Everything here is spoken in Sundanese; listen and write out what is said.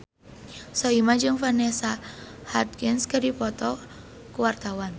Soimah jeung Vanessa Hudgens keur dipoto ku wartawan